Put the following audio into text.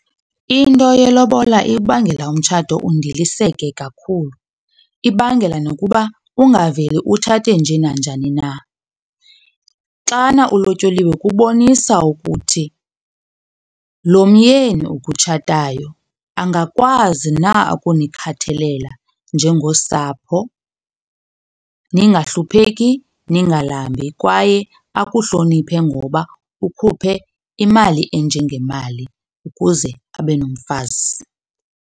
Into yelobola ibangela umtshato undilisekile kakhulu. Ibangela nokuba ungaveli utshate nje nanjani na. Xana ulotyoliwe kubonisa ukuthi lo myeni ukutshatayo angakwazi na ukunikhathalela njengosapho ningahlupheki, ningalambi kwaye akuhloniphe ngoba ukhuphe imali enje ngemali ukuze abe nomfazi.